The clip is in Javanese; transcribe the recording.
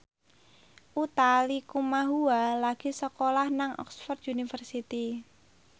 Utha Likumahua lagi sekolah nang Oxford university